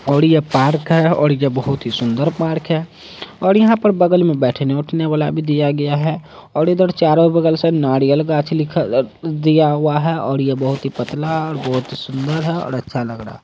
और ये पार्क है और यह बहुत ही सुन्दर पार्क है और यहां पर बगल में बैठने उठने वाला भी दिया गया है और इधर चारों बगल से नारियल गाछ लिखल अ अ दिया हुआ है और यह बहुत ही पतला और बहुत ही सुन्दर है और अच्छा लग रहा।